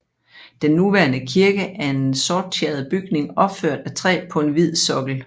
Den nuværende kirke er en sorttjæret bygning opført af træ på en hvid sokkel